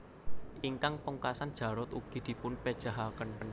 Ingkang pungkasan Jarot ugi dipun pejahaken